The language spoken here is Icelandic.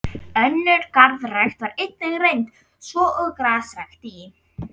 Önnur garðrækt var einnig reynd, svo og grasrækt í